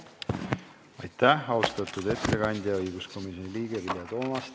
Aitäh, austatud ettekandja, õiguskomisjoni liige Vilja Toomast!